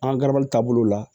An ka garabali taabolo la